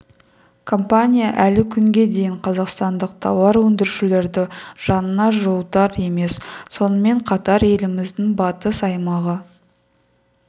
компания әлі күнге дейін қазақстандық тауар өндірушілерді жанына жуытар емес сонымен қатар еліміздің батыс аймағы